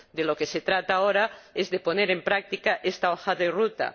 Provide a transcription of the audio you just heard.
De lo que se trata ahora es de poner en práctica esta hoja de ruta.